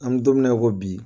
An bɛ don mina i ko bi